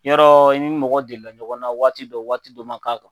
Yɔrɔ i ni mɔgɔ delila ɲɔgɔn na waati dɔ waati dɔ man kan